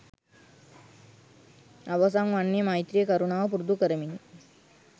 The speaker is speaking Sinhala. අවසන් වන්නේ මෛත්‍රිය කරුණාව පුරුදු කරමිනි.